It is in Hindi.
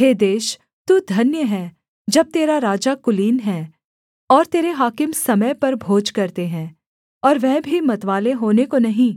हे देश तू धन्य है जब तेरा राजा कुलीन है और तेरे हाकिम समय पर भोज करते हैं और वह भी मतवाले होने को नहीं